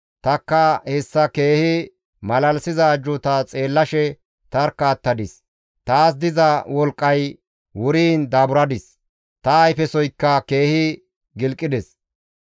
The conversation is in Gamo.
Tanikka hessa keehi malalisiza ajjuuta xeellashe tarkka attadis; taas diza wolqqay wuriin daaburadis; ta ayfesoykka keehi gilqides.